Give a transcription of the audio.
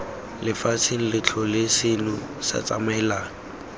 lefatsheng lotlhe seno se tsamaelana